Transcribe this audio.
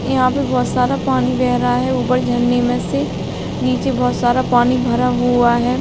यहाँ पे बहोत सारा पानी बेह रहा है उपर झरने में से निचे बहोत सारा पानी भरा हुआ है।